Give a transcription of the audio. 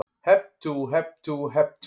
Hep tú, hep tú, hep tú.